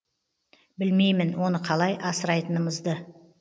білмеймін оны қалай асырайтынымызды